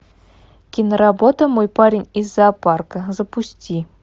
киноработа мой парень из зоопарка запусти